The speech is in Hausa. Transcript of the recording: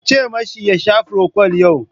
Ku ce mashi ya sha frokwal yau!